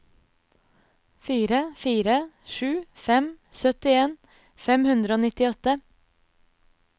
fire fire sju fem syttien fem hundre og nittiåtte